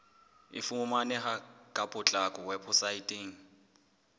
e fumaneha ka potlako weposaeteng